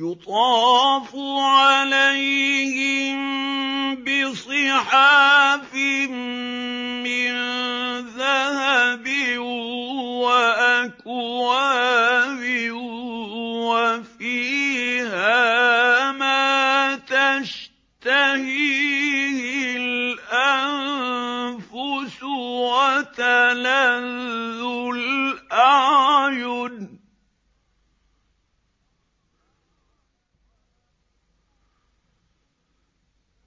يُطَافُ عَلَيْهِم بِصِحَافٍ مِّن ذَهَبٍ وَأَكْوَابٍ ۖ وَفِيهَا مَا تَشْتَهِيهِ الْأَنفُسُ وَتَلَذُّ الْأَعْيُنُ ۖ